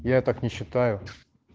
я так не считаю